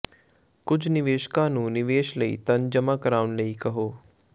ਕੁਝ ਨਿਵੇਸ਼ਕਾਂ ਨੂੰ ਨਿਵੇਸ਼ ਲਈ ਧਨ ਜਮ੍ਹਾਂ ਕਰਾਉਣ ਲਈ ਕਹੋ